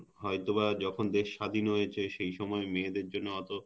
হয়তো বা যখন দেশ স্বাধীন হয়েছে সেই সময় মেয়েদের জন্য অত